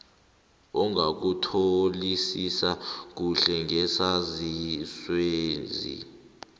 ongakutholisisi kuhle ngesaziswesi